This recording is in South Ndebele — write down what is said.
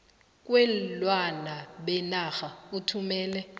kweenlwana benarha ethumela